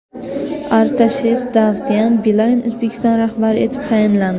Artashes Davtyan Beeline Uzbekistan rahbari etib tayinlandi.